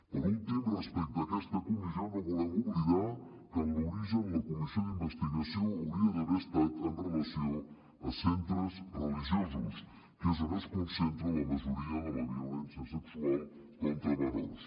per últim respecte a aquesta comissió no volem oblidar que en l’origen la comissió d’investigació hauria d’haver estat amb relació a centres religiosos que és on es concentra la majoria de la violència sexual contra menors